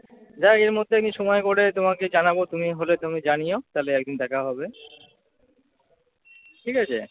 যাই হোক এর মধ্যে একদিন সময় করে তোমাকে জানাব তুমি হলে তুমি জানিও। তাহলে একদিন দেখা হবে। ঠিক আছ?